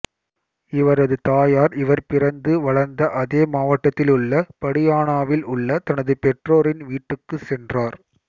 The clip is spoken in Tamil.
இவரது தாயார் இவர் பிறந்து வளர்ந்த அதே மாவட்டத்திலுள்ள படியானாவில் உள்ள தனது பெற்றோரின் வீட்டிற்குச் சென்றார்